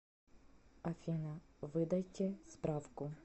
афина выдайте справку